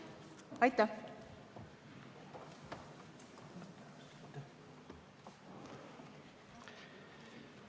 Aitäh!